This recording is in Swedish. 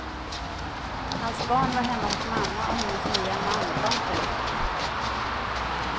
Hans barn var hemma hos mamma och hennes nya man långt därifrån.